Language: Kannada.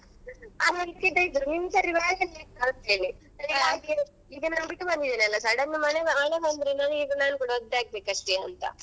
ಬಿಟ್ಟು ಬಂದಿದ್ದೆನೆಲ್ಲಾ sudden ಆಗಿ ಮಳೆ ಬಂದ್ರೇ ಒದ್ದೆ ಆಗ್ಬೇಕಷ್ಟೆಯಾ ಅಂತ.